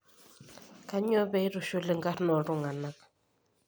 Kanyioo pee aitushul inkarn ooltung'anak